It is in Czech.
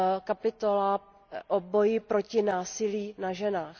kapitola o boji proti násilí na ženách.